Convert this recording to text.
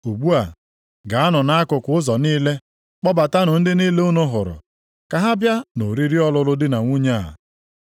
Ugbu a, gaanụ nʼakụkụ ụzọ niile, kpọbatanụ ndị niile unu hụrụ, ka ha bịa nʼoriri ọlụlụ di na nwunye a.’